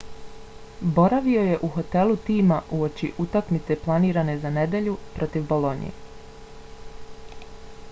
boravio je u hotelu tima uoči utakmice planirane za nedjelju protiv bolonje